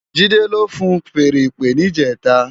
Jide ló fúùn fèèrè ìpè nijètá